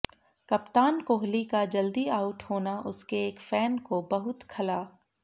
कप्तान कोहली का जल्दी आउट होना उसके एक फैन को बहुत खला